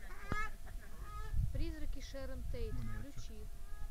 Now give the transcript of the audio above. призраки шерон тейт включи